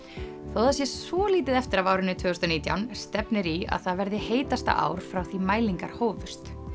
þótt það sé svolítið eftir af árinu tvö þúsund og nítján stefnir í að það verði heitasta ár frá því mælingar hófust